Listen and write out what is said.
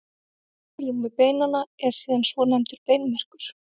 Í holrúmi beinanna er síðan svonefndur beinmergur.